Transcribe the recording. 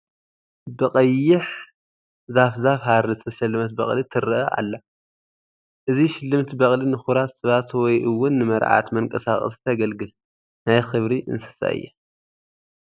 ብቀይሕ ዛፍ ዛፍ ሃሪ ዝተሸለመት በቕሊ ትርአ ኣላ፡፡ እዚ ሽልምቲ በቕሊ ንክቡራት ሰባት ወይ እውን ንመርዓት መንቀሳቐሲ ተግልግል ናይ ክብሪ እንስሳ እያ፡፡